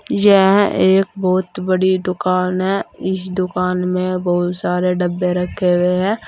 यह एक बहुत बड़ी दुकान है इस दुकान में बहुत सारे डब्बे रखे हुए हैं।